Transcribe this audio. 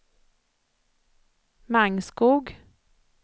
Mangskog